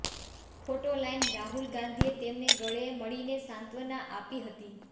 photo line Rahul ગાંધીએ તેમને ગળે મળીને સાંત્વના આપી હતી